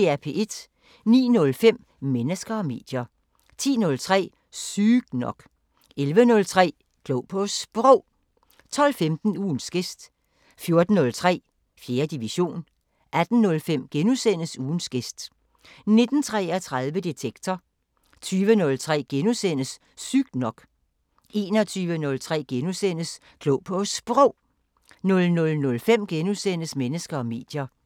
09:05: Mennesker og medier 10:03: Sygt nok 11:03: Klog på Sprog 12:15: Ugens gæst 14:03: 4. division 18:05: Ugens gæst * 19:33: Detektor 20:03: Sygt nok * 21:03: Klog på Sprog * 00:05: Mennesker og medier *